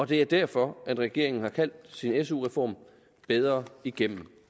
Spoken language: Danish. det er derfor regeringen har kaldt sin su reform bedre igennem